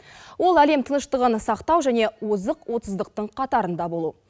ол әлем тыныштығын сақтау және озық отыздықтың қатарында болу